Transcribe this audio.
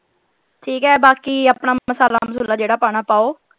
ਠੀਕ ਹੈ ਬਾਕੀ ਆਪਣਾ ਮਸਾਲਾ ਮਸੁਲਾ ਜਿਹੜਾ ਪਾਉਣਾ ਪਾਓ।